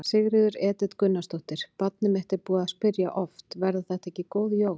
Sigríður Edith Gunnarsdóttir: Barnið mitt er búið að spyrja oft: Verða þetta ekki góð jól?